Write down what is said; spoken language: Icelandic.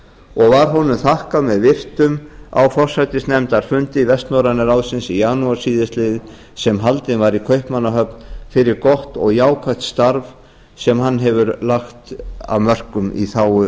og var honum þakkað með virktum á forsætisnefndarfundi vestnorræna ráðsins í janúar síðastliðnum sem haldinn var í kaupmannahöfn fyrir gott og jákvætt starf sem hann hefur lagt af mörkum í þágu